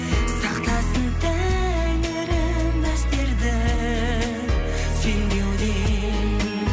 сақтасын тәңірім біздерді сенбеуден